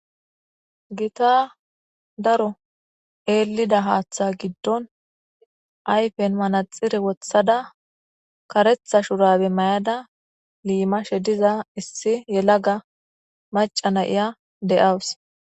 Gita daro eelida haaththa giddon ayfen manaxire wothada karetha shurabe mayada liimashe diza issi yelaga macana iya de'awus